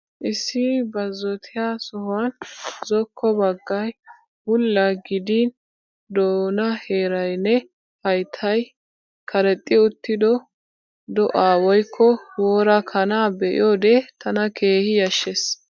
Issi baazzottiya sohuwan zokko baggay bulla gidin doonaa heerayinne hayttay karexxi uttido do'aa woykko wora kanaa be'iyoode tana keehi yashshees.